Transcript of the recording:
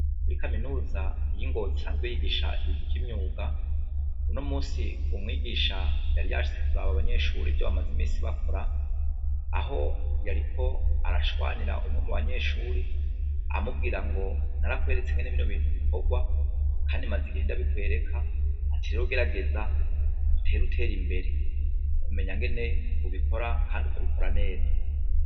Muri kaminuza yi Ngozi isanzwe yigisha ibintu vyimyuga ,uno munsi umwigisha yari yashitse kuraba ivyo abanyeshure bagize mins bakora. aho yariko arashwanira umwe mubanyeshure amubwirango narakweretse bino bintu ukuntu bikorwa Kandi maze igihe ndabikwereka lero gerageza utera utera imbere Kandi uzabikora neza.